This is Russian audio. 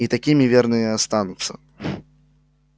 и такими верно и останутся